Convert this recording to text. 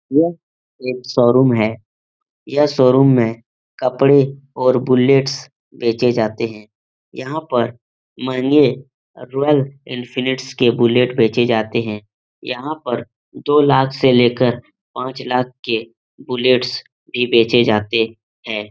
यह एक शोरूम है यह शोरूम में कपड़े और बुलेट्स बेचे जाते हैं यहाँ पर महँगे और रॉयल इंफीनिट्स के बुलेट बेचे जाते हैं यहाँ पर दो लाख से लेकर पांच लाख के बुलेट्स भी बेचे जाते हैं।